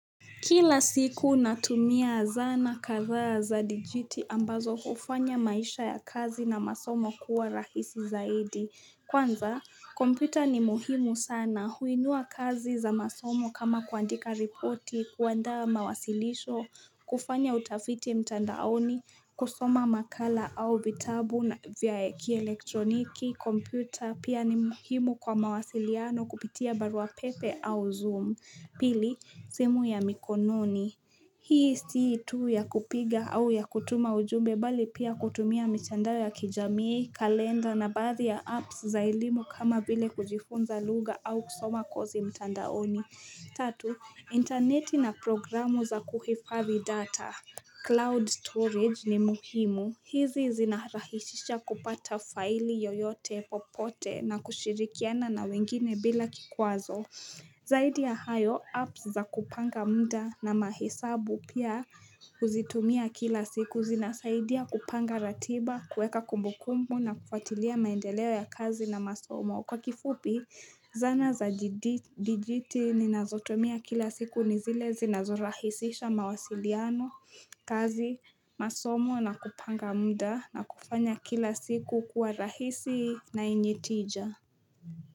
Kila siku natumia zana kathaa za dijiti ambazo ufanya maisha ya kazi na masomo kuwa rahisi zaidi. Kwanza, kompita ni muhimu sana huinua kazi za masomo kama kuandika ripoti, kuandaa mawasilisho, kufanya utafiti mtandaoni, kusoma makala au vitabu na vya kielektroniki, kompita pia ni muhimu kwa mawasiliano kupitia baruapepe au zoom. Pili, simu ya mikononi. Hii sii tu ya kupiga au ya kutuma ujumbe bali pia kutumia mitandao ya kijamii, kalenda na baadhi ya apps za elimu kama vile kujifunza lugha au kusoma kosi mtandaoni. Tatu, interneti na programu za kuhifavi data. Cloud storage ni muhimu. Hizi zina rahishisha kupata faili yoyote popote na kushirikiana na wengine bila kikwazo. Zaidi ya hayo apps za kupanga mda na mahesabu pia kuzitumia kila siku zinasaidia kupanga ratiba kuweka kumbu kumbu na kufatilia maendeleo ya kazi na masomo kwa kifupi zana za dijiti ninazotumia kila siku nizile zinazorahisisha mawasiliano kazi masomo na kupanga mda na kufanya kila siku kuwa rahisi na enye tija.